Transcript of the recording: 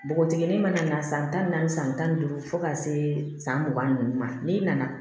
Npogotiginin mana na san tan naani san tan ni duuru fo ka se san mugan ni naani ma n'i nana